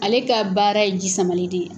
Ale ka baara ye ji samali de ye.